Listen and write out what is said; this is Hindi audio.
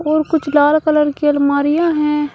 और कुछ लाल कलर की अलमारियां हैं।